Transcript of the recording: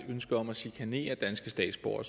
ønske om at chikanere danske statsborgere